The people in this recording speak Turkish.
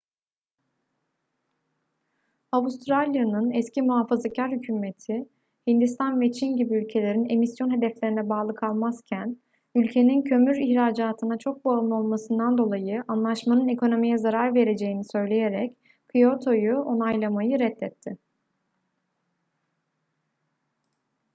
avustralya'nın eski muhafazakar hükümeti hindistan ve çin gibi ülkelerin emisyon hedeflerine bağlı kalmazken ülkenin kömür ihracatına çok bağımlı olmasından dolayı anlaşmanın ekonomiye zarar vereceğini söyleyerek kyoto'yu onaylamayı reddetti